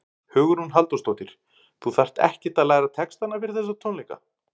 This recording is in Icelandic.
Hugrún Halldórsdóttir: Þú þarft ekkert að læra textana fyrir þessa tónleika?